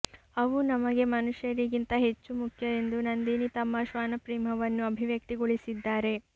ಅವು ನಮಗೆ ಮನುಷ್ಯರಿಗಿಂತ ಹೆಚ್ಚು ಮುಖ್ಯ ಎಂದು ನಂದಿನಿ ತಮ್ಮ ಶ್ವಾನಪ್ರೇಮವನ್ನು ಅಭಿವ್ಯಕ್ತಿಗೊಳಿಸಿದ್ದಾರೆ